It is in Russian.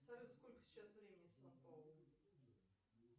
салют сколько сейчас времени в сан паулу